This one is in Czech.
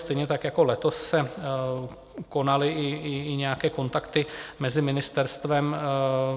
Stejně tak jako letos se konaly i nějaké kontakty mezi ministerstvem.